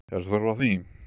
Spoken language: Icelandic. Er þörf á því?